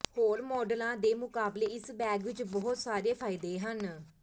ਹੋਰ ਮਾਡਲਾਂ ਦੇ ਮੁਕਾਬਲੇ ਇਸ ਬੈਗ ਵਿੱਚ ਬਹੁਤ ਸਾਰੇ ਫਾਇਦੇ ਹਨ